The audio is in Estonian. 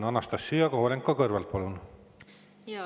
Anastassia Kovalenko-Kõlvart, palun!